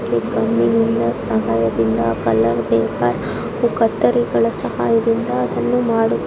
ಇವರುಗಳು ಗಮ್‌ ನಿಂದ ಸಹಾಯದಿಂದ ಕಲರ್‌ ಪೇಪರ್‌ ಹಾಗೂ ಕತ್ತರಿಗಳ ಸಹಾಯದಿಂದ ಅದನ್ನು ಮಾಡು.--